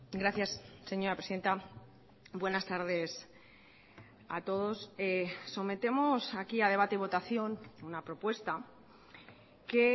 gracias señora presidenta buenas tardes a todos sometemos aquí a debate y votación una propuesta que